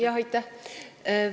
Jah, aitäh!